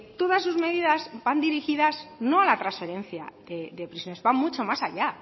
todas sus medidas van dirigidas no a la transferencia de prisiones van mucho más allá